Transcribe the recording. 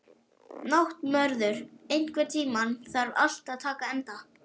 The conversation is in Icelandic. Náttmörður, einhvern tímann þarf allt að taka enda.